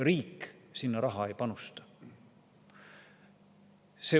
Riik sinna raha ei panusta.